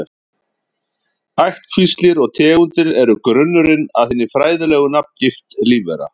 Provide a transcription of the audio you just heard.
Ættkvíslir og tegundir eru grunnurinn að hinni fræðilegu nafngift lífvera.